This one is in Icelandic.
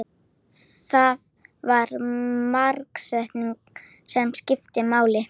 Það var markaðssetningin sem skipti máli.